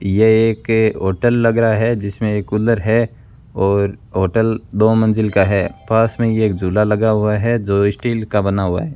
यह एक होटल लग रहा है जिसमें एक कूलर है और होटल दो मंजिल का है पास में ये एक झूला लगा हुआ है जो स्टील का बना हुआ है।